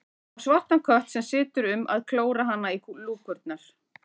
Á svartan kött sem situr um að klóra hana í lúkurnar.